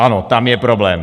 Ano, tam je problém.